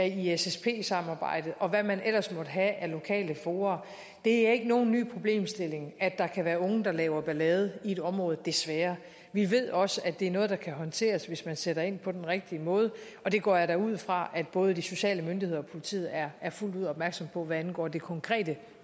i ssp samarbejdet og hvad man ellers måtte have af lokale fora det er ikke nogen ny problemstilling at der kan være unge der laver ballade i et område desværre vi ved også at det er noget der kan håndteres hvis man sætter ind på den rigtige måde og det går jeg da ud fra at både de sociale myndigheder og politiet er fuldt ud opmærksomme på hvad angår det konkrete